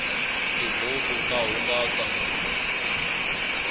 tibuku ta hungasa munhu